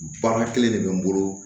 Baara kelen de bɛ n bolo